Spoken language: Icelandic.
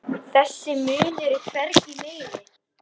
Þessi munur er hvergi meiri.